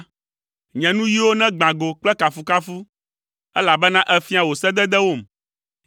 Nye nuyiwo negbã go kple kafukafu, elabena èfia wò sededewom.